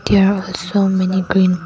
There also many green --